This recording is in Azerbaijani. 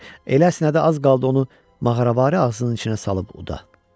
Elə əsnədi az qaldı onu mağaravari ağzının içinə salıb uda.